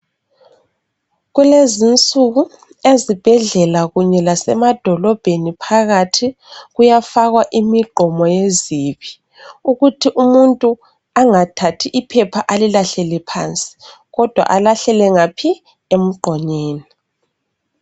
Kulezi insuku, ezibhedlela kunye lasemadolobheni phakathi kuyafakwa imigqomo yezibi ukuthi umuntu angathathi iphepha alilahlele phansi kodwa alahlele ngaphi, emgqonyeni.